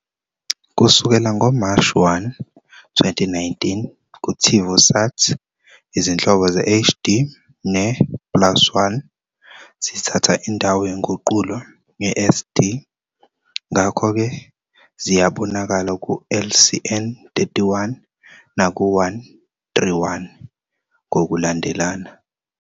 Kusukela ngoMashi 1, 2019, kuTivùsat, izinhlobo ze- "HD" ne- " plus 1" zithatha indawo yenguqulo ye-SD, ngakho-ke ziyabonakala ku-LCN 31 naku-131 ngokulandelana.